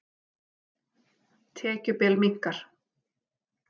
Tekjubil minnkar